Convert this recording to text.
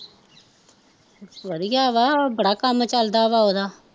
ਵਧੀਆ ਵਾਂ ਬੜਾ ਕੰਮ ਚੱਲਦਾ ਵਾ ਉਹਦਾ